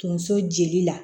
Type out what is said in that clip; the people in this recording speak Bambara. Tonso jeli la